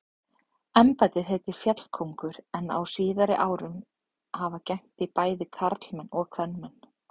Embættið heitir fjallkóngur en á síðari árum hafa gegnt því bæði karlmenn og kvenmenn.